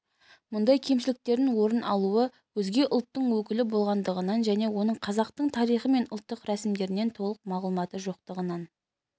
мұндай кемшіліктердің орын алуы өзге ұлттың өкілі болғандығынан және оның қазақтың тарихы мен ұлттық рәсімдерінен толық мағлұматы жоқтығынан